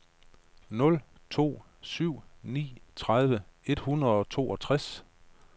nul to syv ni tredive et hundrede og otteogtres